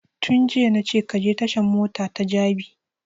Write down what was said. Tun jiya na ce ka je tashan mota ta jabi